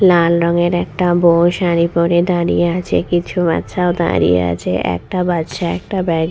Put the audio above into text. লাল রঙের একটা বউ শাড়ি পড়ে দাঁড়িয়ে আছে কিছু বাচ্চাও দাঁড়িয়ে আছে. একটা বাচ্চা একটা ব্যা--